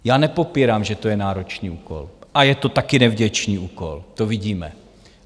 Já nepopírám, že to je náročný úkol a je to taky nevděčný úkol, to vidíme.